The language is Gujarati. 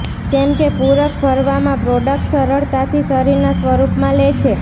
જેમ કે પૂરક ભરવામાં પ્રોડક્ટ્સ સરળતાથી શરીરના સ્વરૂપમાં લે છે